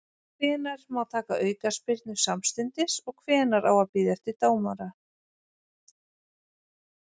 Hvenær má taka aukaspyrnu samstundis og hvenær á að bíða eftir leyfi dómara?